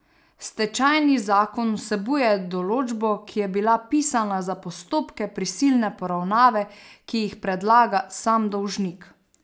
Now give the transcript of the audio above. Stečajni zakon vsebuje določbo, ki je bila pisana za postopke prisilne poravnave, ki jih predlaga sam dolžnik.